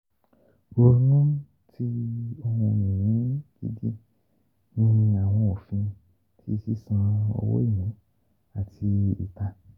Ronu ti ohun-ini gidi ni awọn ofin ti sisan owo ni ati ita.